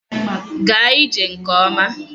Gaa ije gị nke ọma.